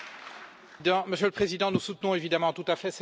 Monsieur le Président, nous soutenons évidemment tout à fait cette demande.